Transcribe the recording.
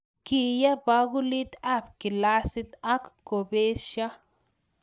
Kiye bakulitab ab kilasit akobesho